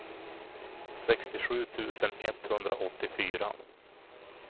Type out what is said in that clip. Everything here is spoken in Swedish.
sextiosju tusen etthundraåttiofyra